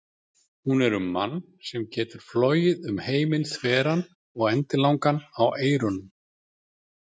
Hún er um mann sem getur flogið um heiminn þveran og endilangan á eyrunum.